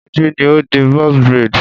Moji ni ó di box braid.